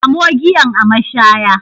Samo giyan a mashaya